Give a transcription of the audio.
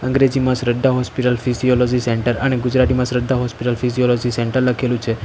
અંગ્રેજીમાં Shraddha hospital physiology centre અને ગુજરાતીમાં શ્રદ્ધા હોસ્પિટલ ફિઝિયોલોજી સેન્ટર લખેલું છે.